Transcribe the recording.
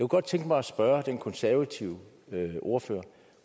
godt tænke mig at spørge den konservative ordfører